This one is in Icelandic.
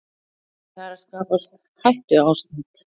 Það er að skapast hættuástand